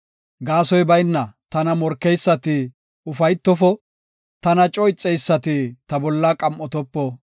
Gaasoy bayna tana morkeysati ufaytofo; tana coo ixeysati ta bolla qam7otopo.